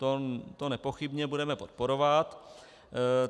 To nepochybně budeme podporovat.